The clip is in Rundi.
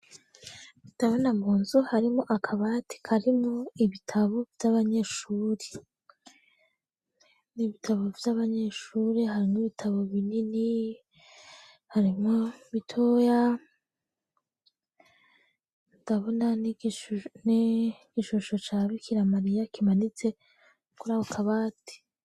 Ndabona mu nzu harimwo akabati karimwo ibitabo vy'abanyeshuri. Ni ibitabo vy'abanyeshuri, harimwo ibitabo binini, harimwo bitoya, ndabona n'igishusho ca Bikira Mariya kimanitse kuri ako kabati.